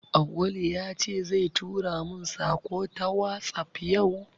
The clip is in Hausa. Auwalu ya ce zai tura mun saƙo ta wasap yau